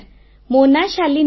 ମୋ ନାଁ ଶାଲିନୀ